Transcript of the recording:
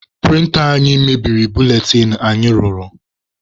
Prịnta anyị mebiri buletịn anyị rụrụ.